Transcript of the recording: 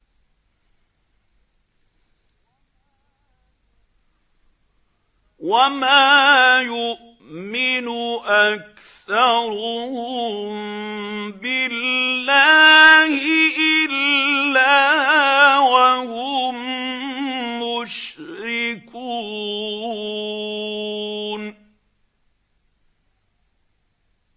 وَمَا يُؤْمِنُ أَكْثَرُهُم بِاللَّهِ إِلَّا وَهُم مُّشْرِكُونَ